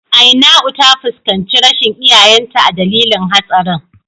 Ainau ta fuskanci rashin iyayenta a dalilin hatsarin.